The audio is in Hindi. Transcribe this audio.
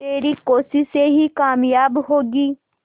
तेरी कोशिशें ही कामयाब होंगी